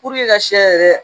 ka sɛ yɛrɛ